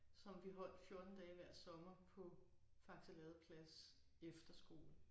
Som vi holdt 14 dage hver sommer på Faxe Ladeplads Efterskole